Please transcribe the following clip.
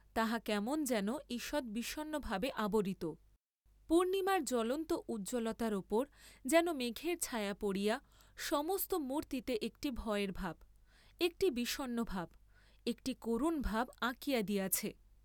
তাহা কেমন যেন ঈষৎ বিষণ্নভাবে আবরিত, পূর্ণিমার জ্বলন্ত উজ্জ্বলতার উপর যেন মেঘের ছায়া পড়িয়া সমস্ত মুর্ত্তিতে একটি ভয়ের ভাব, একটি বিষণ্ন ভাব, একটি করুণ ভাব আঁকিয়া দিয়াছে।